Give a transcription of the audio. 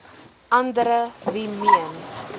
andere wie meen